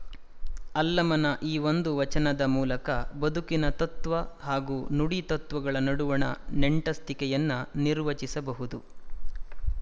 ಅಲ್ಲಮನ ಈ ಒಂದು ವಚನದ ಮೂಲಕ ಬದುಕಿನ ತತ್ವ ಹಾಗೂ ನುಡಿ ತತ್ವಗಳ ನಡುವಣ ನಂಟಸ್ತಿಕೆಯನ್ನು ನಿರ್ವಚಿಸಬಹುದು